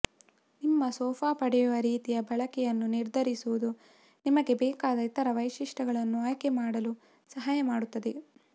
ನಿಮ್ಮ ಸೋಫಾ ಪಡೆಯುವ ರೀತಿಯ ಬಳಕೆಯನ್ನು ನಿರ್ಧರಿಸುವುದು ನಿಮಗೆ ಬೇಕಾದ ಇತರ ವೈಶಿಷ್ಟ್ಯಗಳನ್ನು ಆಯ್ಕೆ ಮಾಡಲು ಸಹಾಯ ಮಾಡುತ್ತದೆ